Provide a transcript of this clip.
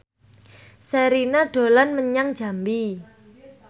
Sherina dolan menyang Jambi